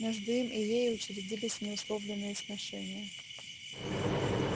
между им и ею учредились неусловленные сношения